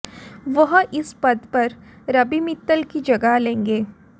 वह इस पद पर रवि मित्तल की जगह लेंगे